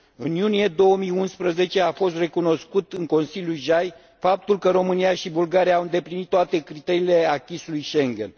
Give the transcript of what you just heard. În iunie 2011 a fost recunoscut în Consiliul JAI faptul că România și Bulgaria au îndeplinit toate criteriile acquis ului Schengen.